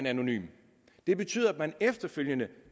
anonym det betyder at man efterfølgende